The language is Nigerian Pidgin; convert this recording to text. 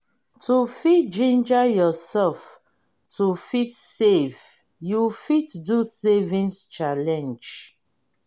to fit ginger yourself to fit save you fit do savings challenge